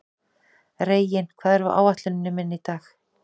Reginn, hvað er á áætluninni minni í dag?